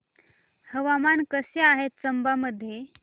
हवामान कसे आहे चंबा मध्ये